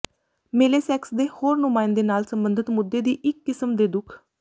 ਮੇਲੇ ਸੈਕਸ ਦੇ ਹੋਰ ਨੁਮਾਇੰਦੇ ਨਾਲ ਸਬੰਧਤ ਮੁੱਦੇ ਦੀ ਇੱਕ ਕਿਸਮ ਦੇ ਦੁੱਖ